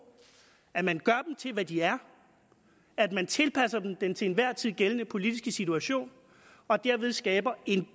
at man gør dem til hvad de er at man tilpasser dem den til enhver tid gældende politiske situation og derved skaber en